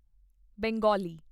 Bengali